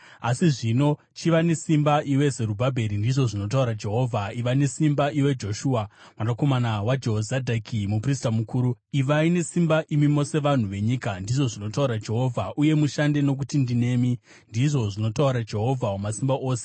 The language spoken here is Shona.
Asi zvino chiva nesimba, iwe Zerubhabheri,’ ndizvo zvinotaura Jehovha. ‘Iva nesimba, iwe Joshua mwanakomana waJehozadhaki, muprista mukuru. Ivai nesimba, imi mose vanhu venyika,’ ndizvo zvinotaura Jehovha, ‘uye mushande. Nokuti ndinemi,’ ndizvo zvinotaura Jehovha Wamasimba Ose.